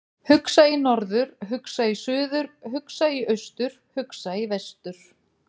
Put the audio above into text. Hugsa í norður, hugsa í suður, hugsa í austur, hugsa í vestur.